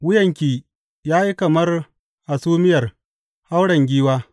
Wuyanki ya yi kamar hasumiyar hauren giwa.